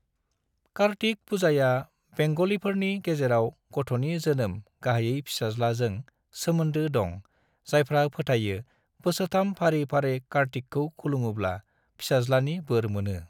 कार्तिक पूजाया बेंग'लिफोरनि गेजेराव गथ'नि जोनोम (गाहायै फिसाज्ला) जों सोमोनदो दं जायफ्रा फोथायो बोसोरथाम फारि फारि कार्टिकखौ खुलुमोब्ला फिसाज्लानि बोर मोनो।